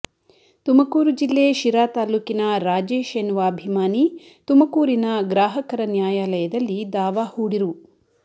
ತುಮಕೂರು ಜಿಲ್ಲೆ ಶಿರಾ ತಾಲೂಕಿನ ರಾಜೇಶ್ ಎನ್ನುವ ಅಭಿಮಾನಿ ತುಮಕೂರಿನ ಗ್ರಾಹಕರ ನ್ಯಾಯಾಲಯದಲ್ಲಿ ದಾವಾ ಹೂಡಿ ರು